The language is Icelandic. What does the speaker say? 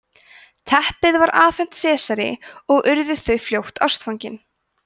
teppið var afhent sesari og urðu þau fljótt ástfangin